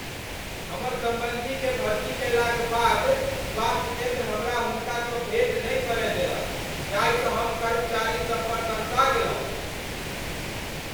हमर सम्बन्धीकेँ भर्ती कएलाक बाद स्वास्थ्य केन्द्र हमरा हुनकासँ भेँट नहि करय देलक जाहिसँ हम कर्मचारी सब पर तमसा गेलहुँ।